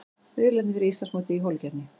Riðlarnir fyrir Íslandsmótið í holukeppni